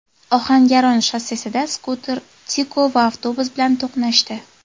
Ohangaron shossesida skuter Tico va avtobus bilan to‘qnashdi.